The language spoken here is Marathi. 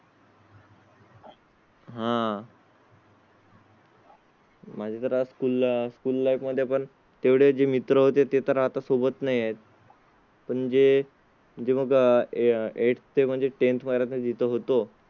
हा. माझ्या घरा school आह school life मध्ये पण तेवढे जे मित्र होते तर आता सोबत नाही आहेत. पण जे जे मग eighth ते म्हणजे tenth परा जित होतो